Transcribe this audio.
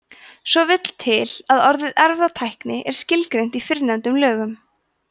svo vill til að orðið erfðatækni er skilgreint í fyrrnefndum lögum